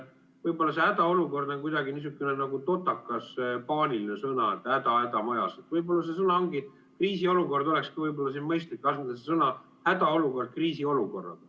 Võib-olla see "hädaolukord" on kuidagi niisugune totakas, paaniline sõna, et häda-häda majas, võib-olla sõna "hädaolukord" olekski siin mõistlik asendada sõnaga "kriisiolukord".